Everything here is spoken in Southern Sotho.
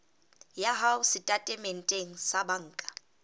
ya hao setatementeng sa banka